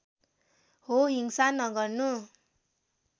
हो हिंसा नगर्नु